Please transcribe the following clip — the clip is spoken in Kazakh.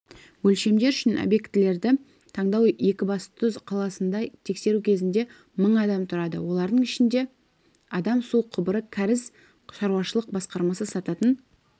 өлшемдер үшін объектілерді таңдау екібастұз қаласында тексеру кезінде мың адам тұрады олардың ішінде адам су құбыры-кәріз шаруашылық басқармасы сататын